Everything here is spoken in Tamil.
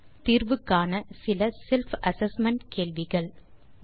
நீங்கள் தீர்வு காண இதோ சில செல்ஃப் அசெஸ்மென்ட் கேள்விகள் 1